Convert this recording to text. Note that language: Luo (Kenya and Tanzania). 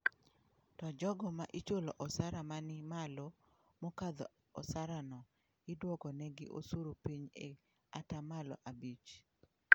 To jogo ma ichulo osara mani malo mokadho osara no, iduoko negi osuru pinyi e ata malo abich.